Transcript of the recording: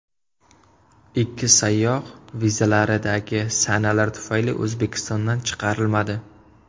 Ikki sayyoh vizalaridagi sanalar tufayli O‘zbekistondan chiqarilmadi.